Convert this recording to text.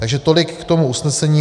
Takže tolik k tomu usnesení.